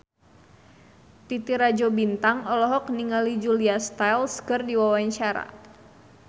Titi Rajo Bintang olohok ningali Julia Stiles keur diwawancara